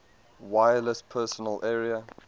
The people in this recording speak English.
wireless personal area